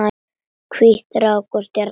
Hvít rák og stjarna